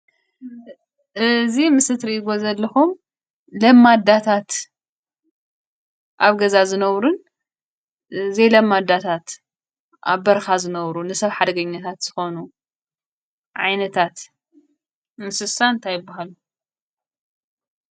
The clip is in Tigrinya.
እዚ ምስሊ እትሪእዎ ዘለኩም ለማዳታት፣ ኣብ ገዛን ዝነብሩን ዘይ ለማዳታት፣ ኣብ በረካታት ዝነብሩን ንሰብ ሓደገኛታት ዝኮኑ ዓይነታት እንስሳ እንታይ ይብሃሉ?